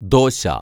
dosa